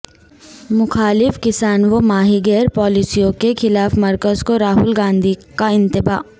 مخالف کسان و ماہی گیر پالیسیوں کے خلاف مرکز کو راہول گاندھی کا انتباہ